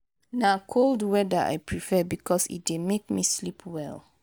na cold weather i prefer because e dey make me sleep well.